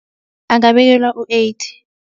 Angabekelwa u-eighty.